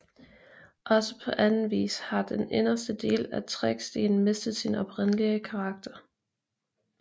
Også på anden vis har den inderste del af Trækstien mistet sin oprindelige karakter